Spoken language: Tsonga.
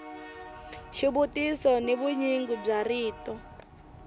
xivutiso ni vunyingi bya rito